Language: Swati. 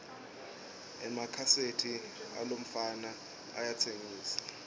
emakhaseti alomfana ayatsengisa